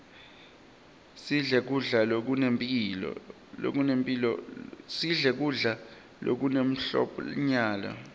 sidle kudla lokune mphlonyalo